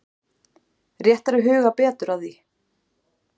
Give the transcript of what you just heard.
Rétt er að huga betur að því.